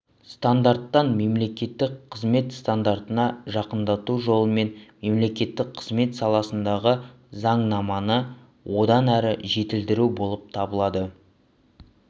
стандарттарын мемлекеттік қызмет стандарттарына жақындату жолымен мемлекеттік қызмет саласындағы заңнаманы одан әрі жетілдіру болып табылады